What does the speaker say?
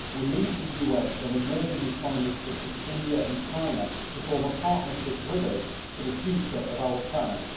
We need the US and emerging economies such as India and China to form a partnership with us for the future of our planet.